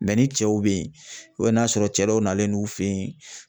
ni cɛw bɛ yen n'a sɔrɔ cɛ dɔw nalen n'u fen in